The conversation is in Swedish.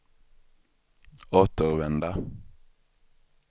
återvända